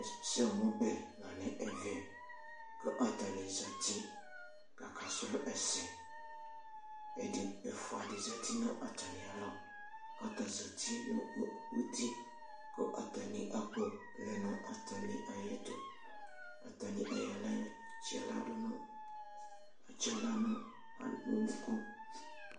Ɛsɛmʋbɛ la nʋ ɛvɛ kʋ atanɩ zati kʋ akasrɔ ɛsɛ Ɛdɩ, ɛfʋa dɩ zati nʋ atamɩalɔ kʋ ata zati nʋ uti kʋ atanɩ akpɔ lɛ nʋ atanɩ ayɛtʋ Atanɩ ayɔ aɣla yɔtsɩ aɣla dʋ nʋ atsɩ aɣla nʋ unuku